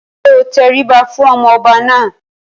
Ṣé o tẹríba fún ọmọ ọba náà?